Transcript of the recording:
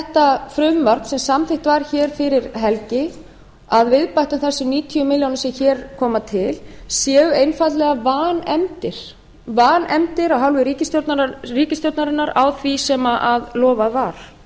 þetta frumvarp sem samþykkt var hér fyrir helgi að viðbættum þessum níutíu milljónir sem hér koma til séu einfaldlega vanefndir vanefndir að hálfu ríkisstjórnarinnar á því sem lofað